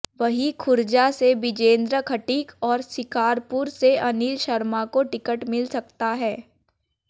वहीं खुर्जा से बिजेंद्र खटीक और शिकारपुर से अनिल शर्मा को टिकट मिल सकता है